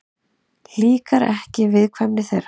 Líkar ekki viðkvæmni þeirra.